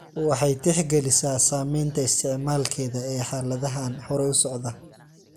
Waxay tixgelisaa saamaynta isticmaalkeeda ee xaaladahan hore u socda .